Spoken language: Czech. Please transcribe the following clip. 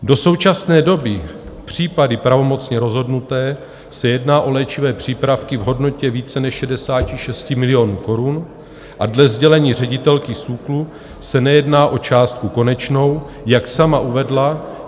Do současné doby - případy pravomocně rozhodnuté - se jedná o léčivé přípravky v hodnotě více než 66 milionů korun a dle sdělení ředitelky SÚKLu se nejedná o částku konečnou, jak sama uvedla.